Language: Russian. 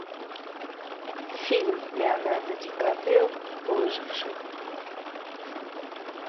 фильм леонардо ди каприо выживший